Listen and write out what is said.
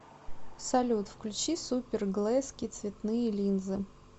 салют включи супер глэзки цветные линзы